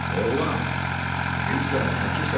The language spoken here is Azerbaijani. Oğlan, kimsən, nəçisən?